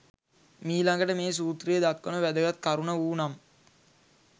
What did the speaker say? මීළඟට මේ සූත්‍රයේ දක්වන වැදගත් කරුණ වූ නම්